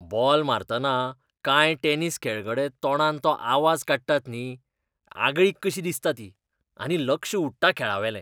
Ball मारतना कांय tennis खेळगडे तोंडान तो आवाज काडटात न्ही, आगळीक कशी दिसता ती, आनी लक्ष उडटा खेळावेलें.